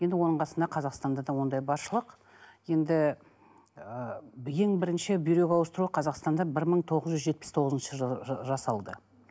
енді оның қасында қазақстанда да ондай баршылық енді ы ең бірінші бүйрек ауыстыру қазақстанда бір мың тоғыз жүз жетпіс тоғызыншы жыл жылы жасалды